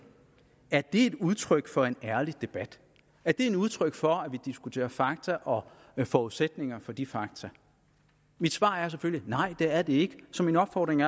er det udtryk for en ærlig debat er det et udtryk for at vi diskuterer fakta og forudsætningerne for de fakta mit svar er selvfølgelig et nej det er det ikke så min opfordring